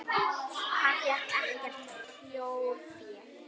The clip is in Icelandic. Hann fékk ekkert þjórfé.